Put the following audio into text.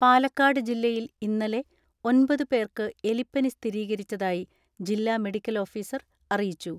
പാലക്കാട് ജില്ലയിൽ ഇന്നലെ ഒൻപത് പേർക്ക് എലിപ്പനി സ്ഥിരീകരിച്ചതായി ജില്ലാ മെഡിക്കൽ ഓഫീസർ അറിയിച്ചു.